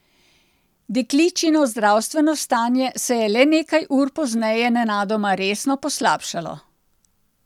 Dekličino zdravstveno stanje se je le nekaj ur pozneje nenadoma resno poslabšalo.